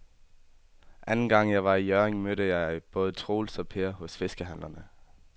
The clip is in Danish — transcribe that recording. Anden gang jeg var i Hjørring, mødte jeg både Troels og Per hos fiskehandlerne.